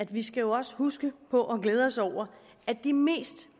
vi skal jo også huske på og glæde os over at de mest